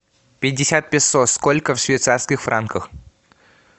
пятьдесят песо сколько в швейцарских франках